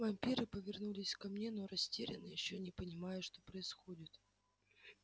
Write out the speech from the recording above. вампиры повернулись ко мне но растерянно ещё не понимая что происходит